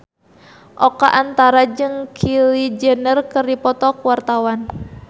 Oka Antara jeung Kylie Jenner keur dipoto ku wartawan